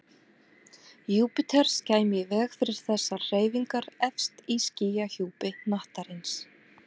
Júpíters kæmi í veg fyrir þessar hreyfingar efst í skýjahjúpi hnattarins.